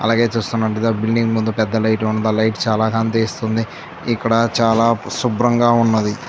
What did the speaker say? అలాగే చూస్తున్నట్టుగా బిల్డింగ్ ముందు పెద్ద లైట్ ఉన్నదీ. ఆ లైట్ చాలా కాంతి ఇస్తుంది. ఇక్కడ చాలా శుభ్రంగా ఉన్నది.